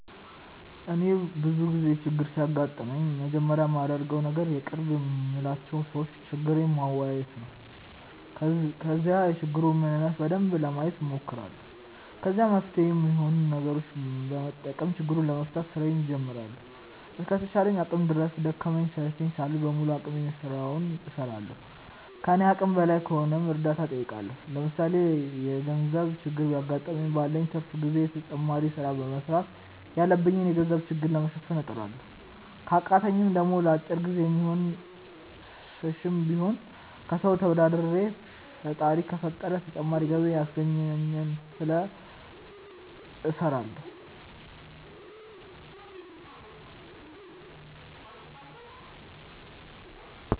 እኔ ብዙ ጊዜ ችግር ሲያጋጥመኝ መጀመሪያ ማደርገው ነገር የቅርብ የምላቸው ሰዎች ችግሬን ማዋየት ነው። ከዛ የችግሩን ምንነት በደንብ ለማየት ሞክራለሁ። ከዛ መፍትሄ ሚሆኑ ነገሮችን በመጠቀም ችግሩን ለመፍታት ስራዬን ጀምራለሁ። እስከ ተቻለኝ አቅም ድረስ ደከመኝ ሰለቸኝ ሳልል በሙሉ አቅሜ ስራውን እስራለሁ። ከኔ አቅም በላይ ከሆነም እርዳታ ጠይቃለሁ። ለምሳሌ የገርዘብ ችግር ቢያገጥመኝ ባለኝ ትርፍ ጊዜ ተጨማሪ ስራ በመስራት ያለብኝን የገንዘብ ችግር ለመሸፈን እጥራለሁ። ከቃተኝ ደሞ ለአጭር ጊዜ የሚሆን ስሽም ቢሆን ከሰው ተበድሬ ፈጣሪ ከፈቀደ ተጨማሪ ገቢ ሚያስገኘኝን ስለ እስራለሁ።